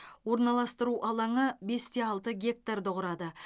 орналастыру алаңы бес те алты гектарды құрады